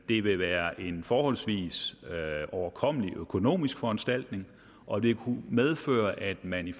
det vil være en forholdsvis overkommelig økonomisk foranstaltning og det kunne medføre at man i